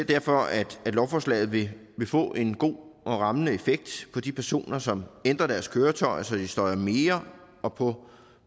derfor at lovforslaget vil få en god og rammende effekt på de personer som ændrer deres køretøjer så de støjer mere og på